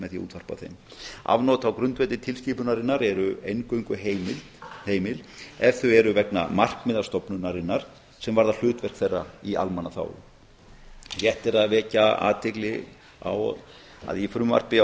með því að útvarpa þeim afnot á grundvelli tilskipunarinnar eru eingöngu heimil ef þau eru vegna markmiða stofnunarinnar sem varða hlutverk þeirra í almannaþágu rétt er að vekja athygli á að í frumvarpi á